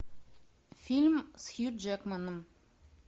фильм с хью джекманом